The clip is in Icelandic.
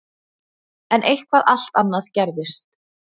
En eitthvað allt annað gerðist.